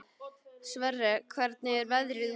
Sverre, hvernig er veðrið úti?